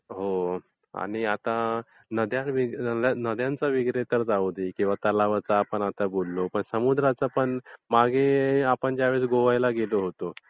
हो आणि आता नद्यांच वगैरे तर जाऊ दे किंवा तलावाचा आपण आता बोललो पण समुद्राचा पण... मागे आपण जेव्हा गोव्याला गेलो होतो